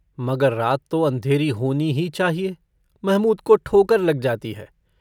मगर रात तो अँधेरी होनी ही चाहिए महमूद को ठोकर लग जाती है।